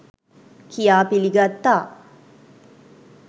කියා පිළිගත්තා.